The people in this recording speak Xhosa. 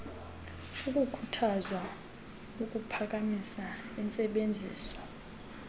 kukhuthazwa ukuphakamisa intsebenziso